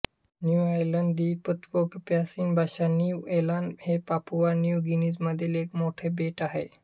new Ireland द्वीप Tok Pisin भाषानिउ ऐलान हे पापुआ न्यू गिनीमधील एक मोठे बेट आहे